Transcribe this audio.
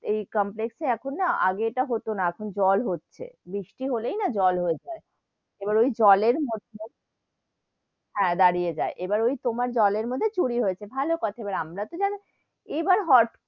এই complex এ এখন না আগে ইটা হতো না, এখন জল হচ্ছে, বৃষ্টি হলেই না জল হয়ে যাই, এবার ওই জলের মধ্যে হেঁ, দাঁড়িয়ে যাই, এবার ওই তোমার জলের মধ্যে চুরি হয়েছে, ভালো কথা, এবার আমরা তো জানি, এবার হট,